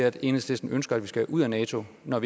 at enhedslisten ønsker at vi skal ud af nato når